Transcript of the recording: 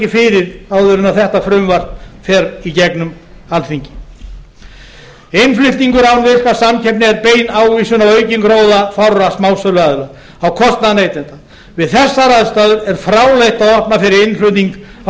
fyrir áður en að þetta frumvarp fer í gegnum alþingi innflutningur án virkrar samkeppni er bein ávísun á aukinn gróða fárra smásöluaðila á kostnað neytenda við þessar aðstæður er fráleitt að opna fyrir innflutning á kjöt